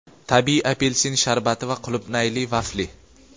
tabiiy apelsin sharbati va qulupnayli vafli.